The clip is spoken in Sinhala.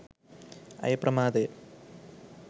ඇය ප්‍රමාදය.